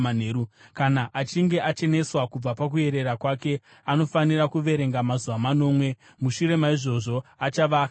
“ ‘Kana achinge acheneswa kubva pakuerera kwake anofanira kuverenga mazuva manomwe, mushure maizvozvo achava akachena.